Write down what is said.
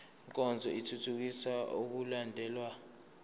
nkonzo ithuthukisa ukulandelwa